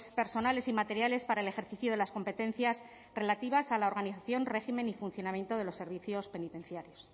personales y materiales para el ejercicio de las competencias relativas a la organización régimen y funcionamiento de los servicios penitenciarios